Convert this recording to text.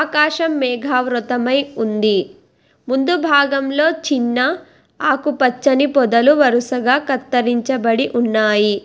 ఆకాశం మేఘావృతమై ఉంది ముందు భాగంలో చిన్న ఆకు పచ్చని పొదలు వరుసగా కత్తిరించబడి ఉన్నాయి.